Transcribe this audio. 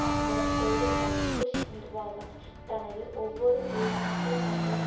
அந்த கொள்கைதான் புஷ் நிர்வாகம் தனது ஒவ்வொரு உள்நாட்டு மற்றும்